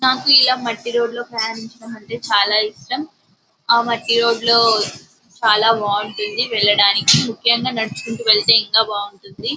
నాకు ఇలా మట్టి రోడ్డు లో ప్రయాణించడం అంటే చాల ఇష్టం ఆ మట్టి రోడ్డు లో చాలా బాగుంటుంది వెళ్ళడానికి ముక్యంగా నడుచుకుంట వెళ్తే ఇంకా బాగుంటుంది.